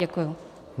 Děkuju.